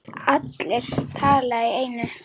Allir tala í einu.